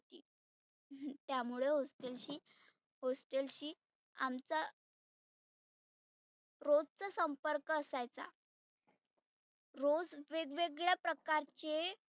त्यामुळ hostel शी hostel शी आमचा रोजचा संपर्क असायचा. रोज वेग वेगळ्या प्रकारचे